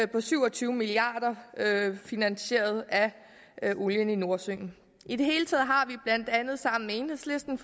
på syv og tyve milliard kr der er finansieret af olien i nordsøen i det hele taget har vi blandt andet sammen med enhedslisten